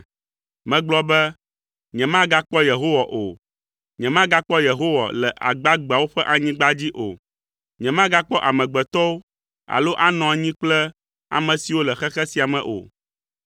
Megblɔ be, “Nyemagakpɔ Yehowa o. Nyemagakpɔ Yehowa le agbagbeawo ƒe anyigba dzi o; nyemagakpɔ amegbetɔwo alo anɔ anyi kple ame siwo le xexe sia me o.